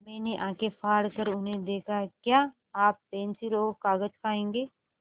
मैंने आँखें फाड़ कर उन्हें देखा क्या आप पेन्सिल और कागज़ खाएँगे